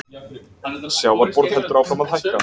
Sjávarborð heldur áfram að hækka